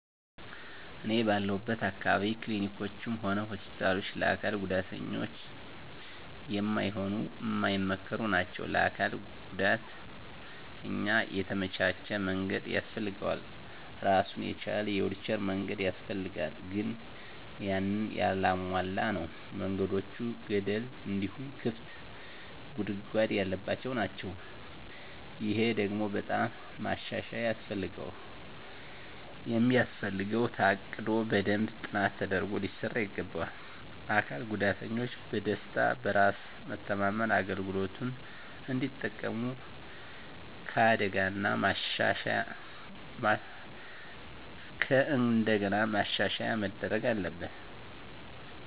እኔ ባለሁለት አካባቢ ክሊኒኮችም ሆነ ሆስፒታሎች ለአካል ጉዳተኛ ማይሆኑ ማይመከሩ ናቸው። ለአንድ አካል ጉዳተኛ የተመቻቸ መንገድ ያስፈልገዋል እራሱን የቻለ የዊልቸር መንገድ ያስፈልጋል ግን ያንን ያላሟላ ነው። መንገዶቹ ገደል እንዲሁም ክፍት ጉድጓድ ያለባቸው ናቸው። ይሄ ደግሞ በጣም ማሻሻያ የሚያስፈልገው ታቅዶ በደንብ ጥናት ተደርጎ ሊሰራ ይገባዋል። አካል ጉዳተኞች በደስታ፣ በራስ መተማመን አገልግሎቱን እንዲጠቀሙ ከእንደገና ማሻሻያ መደረግ አለበት።